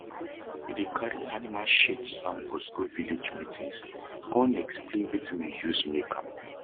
we dey cari animal shit samples go village meetings con explain wetin we use make am